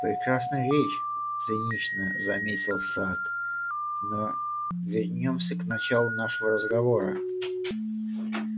прекрасная речь цинично заметил сатт но вернёмся к началу нашего разговора